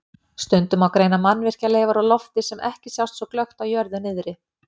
Stundum má greina mannvirkjaleifar úr lofti sem ekki sjást svo glöggt á jörðu niðri.